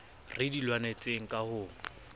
re di lwanetseng ka ho